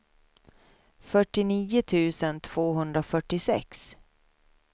fyrtionio tusen tvåhundrafyrtiosex